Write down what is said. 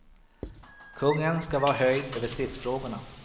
Kungen skall vara höjd över stridsfrågorna.